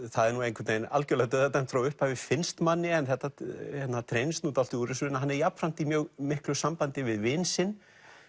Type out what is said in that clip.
það er nú einhvern veginn algjörlega dauðadæmt frá upphafi finnst manni en það treinist nú dálítið úr þessu en hann er jafnframt í mjög miklu sambandi við vin sinn